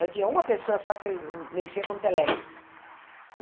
Eu tinha uma pessoa só que mexia com telex.